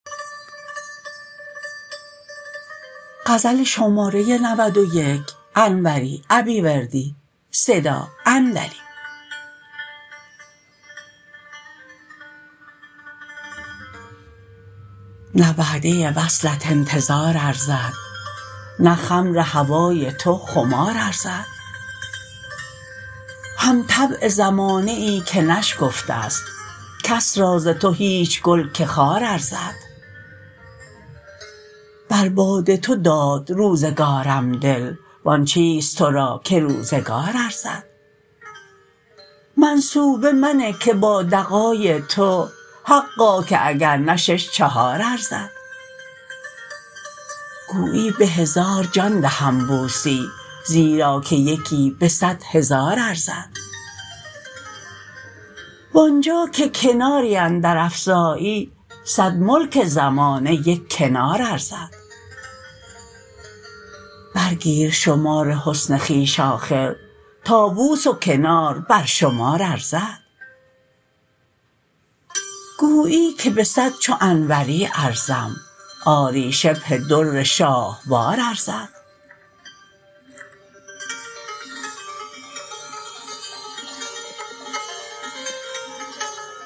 نه وعده وصلت انتظار ارزد نه خمر هوای تو خمار ارزد هم طبع زمانه ای که نشکفته است کس را ز تو هیچ گل که خار ارزد بر باد تو داد روزگارم دل وان چیست ترا که روزگار ارزد منصوبه منه که با دغای تو حقا که اگر نه شش چهار ارزد گویی به هزار جان دهم بوسی زیرا که یکی به صد هزار ارزد وانجا که کناری اندر افزایی صد ملک زمانه یک کنار ارزد برگیر شمار حسن خویش آخر تا بوس و کنار بر شمار ارزد گویی که به صد چو انوری ارزم آری شبه در شاهوار ارزد